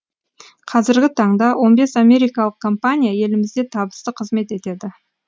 қазіргі таңда он бес америкалық компания елімізде табысты қызмет етеді